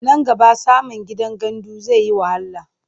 Nan gaba samin gidan gandu zai yi wahala.